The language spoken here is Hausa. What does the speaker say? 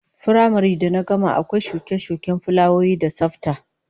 Firamare da na gama akwai shuke-shuken fulawoyi da tsafta